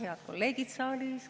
Head kolleegid saalis!